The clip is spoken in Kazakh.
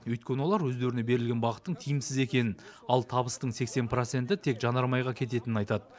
өйткені олар өздеріне берілген бағыттың тиімсіз екенін ал табыстың сексен проценті тек жанармайға кететінін айтады